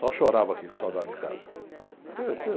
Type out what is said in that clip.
Só chorava aqui com saudade de casa.